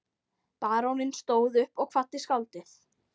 Baróninn stóð upp og kvaddi skáldið.